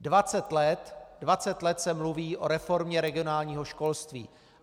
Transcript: Dvacet let - dvacet let se mluví o reformě regionálního školství.